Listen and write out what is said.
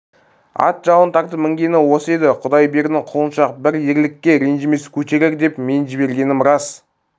ат жалын тартып мінгені осы еді құдайбердінің құлыншақ бір еркелікке ренжімес көтерер деп мен жібергенім рас